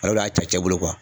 Ale de y'a cɛ cɛ bolo